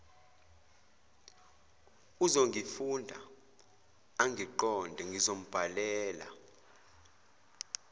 uzongifunda angiqonde ngizombhalela